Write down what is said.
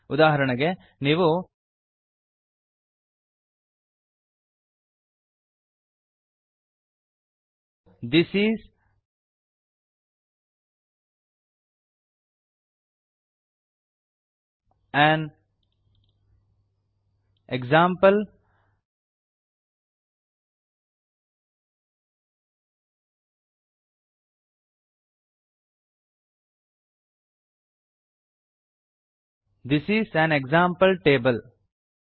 ಉದಾಹರಣೆಗೆ ನೀವು this is an example this is an example table